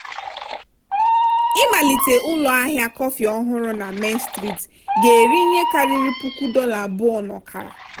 ịmalite ụlọahịa kọfị ọhụrụ na main street ga-eri ihe karịrị puku dollar abụọ na ọkara.